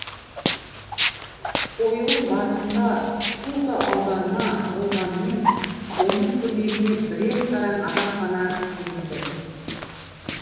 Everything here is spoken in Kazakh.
қойылым барысында сурдо аударма болғанымен оның көмегіне бірең сараң адам ғана жүгінді